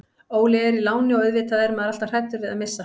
Óli er í láni og auðvitað er maður alltaf hræddur við að missa hann.